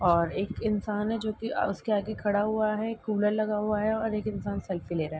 और एक इंसान है जो कि उसके आगे खड़ा हुआ है। कूलर लगा हुआ है और एक इंसान सेल्फी ले रहा है।